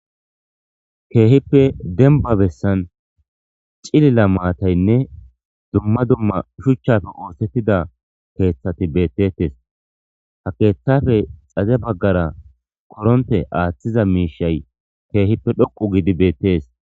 keehippe denba bessan cilila maataynne dumma dumma shuchchafe oosettida keeththati beettetes ha keeththafe xaze baggara qoronte aaththiza miishay keehippe dhoqu gidi beettes